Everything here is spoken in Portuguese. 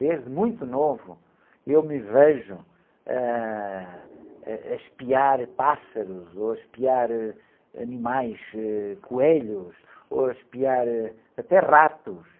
Desde muito novo eu me vejo, ãh, a, a espiar pássaros ou ãh, a espiar animais, ãh, coelhos ou a espiar ãh, até ratos.